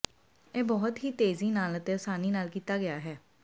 ਇਹ ਬਹੁਤ ਹੀ ਤੇਜ਼ੀ ਨਾਲ ਅਤੇ ਆਸਾਨੀ ਨਾਲ ਕੀਤਾ ਗਿਆ ਹੈ